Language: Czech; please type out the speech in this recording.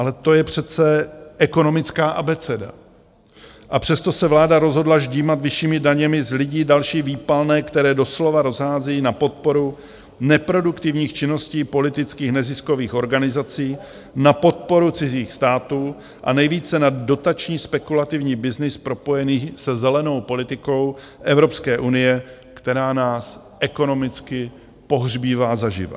Ale to je přece ekonomická abeceda, a přesto se vláda rozhodla ždímat vyššími daněmi z lidí další výpalné, které doslova rozhází na podporu neproduktivních činností politických neziskových organizací, na podporu cizích států a nejvíce na dotační spekulativní byznys propojený se zelenou politikou Evropské unie, která nás ekonomicky pohřbívá zaživa.